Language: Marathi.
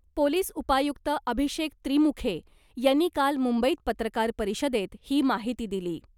पोलीस उपायुक्त अभिषेक त्रिमुखे यांनी काल मुंबईत पत्रकार परिषदेत ही माहिती दिली .